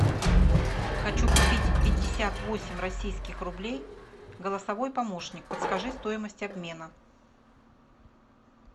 хочу купить пятьдесят восемь российских рублей голосовой помощник подскажи стоимость обмена